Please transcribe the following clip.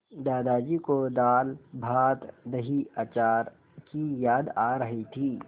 दादाजी को दालभातदहीअचार की याद आ रही थी